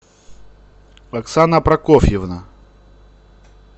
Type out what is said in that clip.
оксана прокофьевна